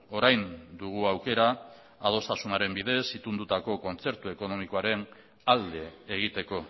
orain dugu aukera adostasunaren bidez itundutako kontzertu ekonomikoaren alde egiteko